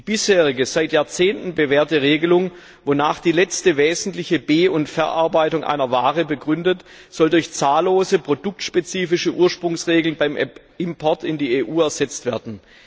Die bisherige, seit Jahrzehnten bewährte Regelung, wonach die letzte wesentliche Be und Verarbeitung einer Ware deren Ursprung begründet, soll durch zahllose produktspezifische Ursprungsregeln beim Import in die EU ersetzt werden.